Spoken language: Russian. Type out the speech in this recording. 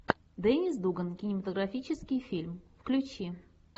деннис дуган кинематографический фильм включи